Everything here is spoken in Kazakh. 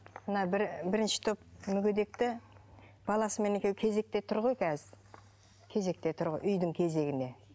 мына бірінші топ мүгедекті баласымен екеуі кезекте тұр ғой қазір кезекте тұр ғой үйдің кезегіне